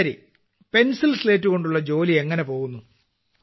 ശരി പെൻസിൽസ്ലേറ്റ് കൊണ്ടുള്ള ജോലി എങ്ങനെപോകുന്നു